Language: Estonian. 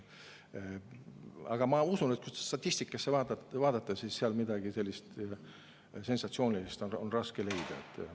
Aga ma usun, et kui statistikat vaadata, siis seal on midagi sensatsioonilist raske leida.